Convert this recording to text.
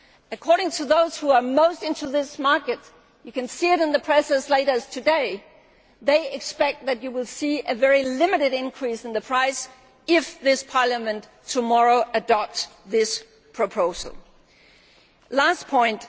According to those who are most into this market you can see it in the press as late as today they expect that you will see a very limited increase in the price if this Parliament adopts this proposal tomorrow. This brings me to my last point.